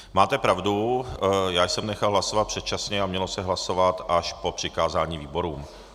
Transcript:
Máte pravdu, já jsem nechal hlasovat předčasně a mělo se hlasovat až po přikázání výborům.